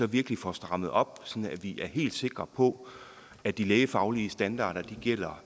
virkelig får strammet op sådan at vi er helt sikre på at de lægefaglige standarder gælder